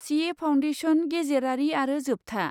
C A foundation, गेजेरारि आरो जोबथा।